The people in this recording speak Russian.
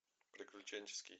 приключенческий